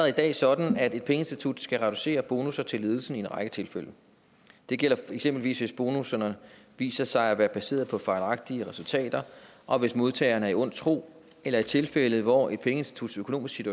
i dag sådan at et pengeinstitut skal reducere bonusser til ledelsen i en række tilfælde det gælder eksempelvis hvis bonusserne viser sig at være baseret på fejlagtige resultater og hvis modtageren er i ond tro eller i tilfælde hvor et pengeinstituts økonomiske